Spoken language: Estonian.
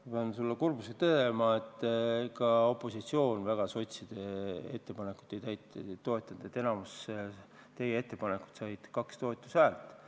Ma pean sulle kurbusega teatama, et ka opositsioon sotside ettepanekuid väga ei toetanud, enamik teie ettepanekuid sai kaks toetushäält.